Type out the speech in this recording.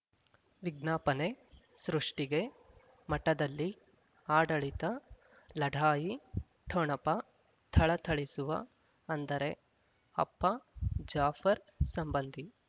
ವಿಜ್ಞಾಪನೆ ಸೃಷ್ಟಿಗೆ ಮಠದಲ್ಲಿ ಆಡಳಿತ ಲಢಾಯಿ ಠೊಣಪ ಥಳಥಳಿಸುವ ಅಂದರೆ ಅಪ್ಪ ಜಾಫರ್ ಸಂಬಂಧಿ